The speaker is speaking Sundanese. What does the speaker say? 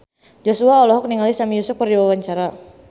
Joshua olohok ningali Sami Yusuf keur diwawancara